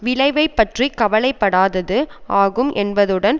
விளைவைப்பற்றிக் கவலைப்படாதது ஆகும் என்பதுடன்